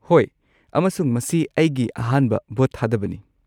ꯍꯣꯏ, ꯑꯃꯁꯨꯡ ꯃꯁꯤ ꯑꯩꯒꯤ ꯑꯍꯥꯟꯕ ꯚꯣꯠ ꯊꯥꯗꯕꯅꯤ꯫